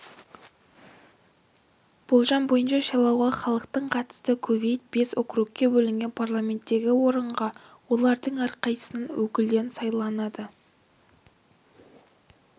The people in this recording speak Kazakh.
болжам бойынша сайлауға халықтың қатысты кувейт бес округке бөлінген парламенттегі орынға олардың әрқайсысынан өкілден сайланады